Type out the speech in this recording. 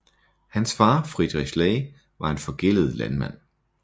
Hans far Friedrich Ley var en forgældet landmand